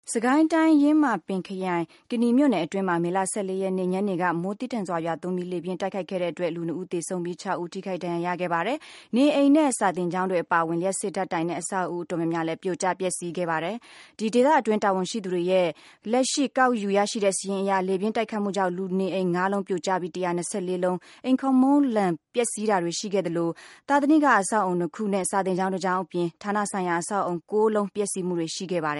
စစ်ကိုင်းတိုင်း၊ ယင်းမာပင်ခရိုင်၊ ကနီမြို့နယ်အတွင်းမှာ မေလ ၁၄ ရက်နေ့ ညနေက မိုးသည်းထန်စွာရွာသွန်းပြီး လေပြင်းတိုက်ခတ်ခဲ့တဲ့အတွက် လူ ၂ ဦးသေဆုံးပြီး ၆ ဦးထိခိုက်ဒဏ်ရာရခဲ့ပါတယ်။ နေအိမ်နဲ့ စာသင်ကျောင်းတွေအပါအဝင် လျှပ်စစ်ဓာတ်တိုင်နဲ့ အဆောက်အဦး အတော်များများလည်း ပြိုကျပျက်ဆီးခဲ့ပါတယ်။ ဒေသတွင်း တာဝန်ရှိသူတွေရဲ့ လက်ရှိ ကောက်ယူရရှိတဲ့စာရင်းအရ လေပြင်းတိုက်ခတ်မှုကြောင့် လူနေအိမ် ၅ လုံးပြိုကျပြီး၊ ၁၂၄ လုံး အိမ်ခေါင်မိုးလန် ပျက်ဆီးတာတွေရှိခဲ့သလို သာသနိက အဆောက်အဦး ၂ ခုနဲ့ စာသင်ကျောင်း ၁ ကျောင်းအပြင် ဌာနဆိုင်ရာအဆောက်ဦး ၉ လုံး ပျက်ဆီးမှုတွေရှိခဲ့ပါတ